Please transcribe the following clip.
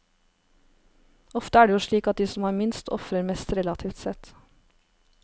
Ofte er det jo slik at de som har minst, ofrer mest relativt sett.